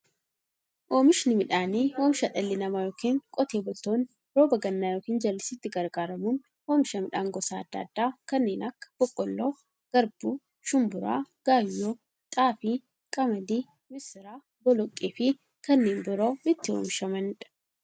Oomishni midhaanii, oomisha dhalli namaa yookiin Qotee bultoonni roba gannaa yookiin jallisiitti gargaaramuun oomisha midhaan gosa adda addaa kanneen akka; boqqoolloo, garbuu, shumburaa, gaayyoo, xaafii, qamadii, misira, boloqqeefi kanneen biroo itti oomishamiidha.